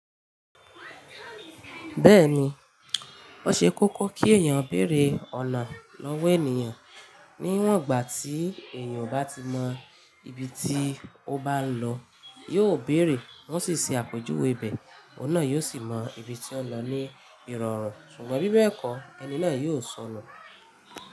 Bẹ́ẹ̀ni, ó ṣe kókó kí èèyàn béèrè ọ̀nà lọ́wọ́ ènìyàn. Níwọ̀n gbà tí èèyàn bá ti mọ ibi tí ó bá ń lọ, yóò bèèrè, wọ́n sì ṣe àpèjúwe bẹ̀, ọ̀nà yóò sì mọ ibi tí ó ń lọ ní ìrọ̀rùn. Ṣùgbọ́n bí bẹ́ẹ̀ kọ́, ẹni náà yóò sọnù.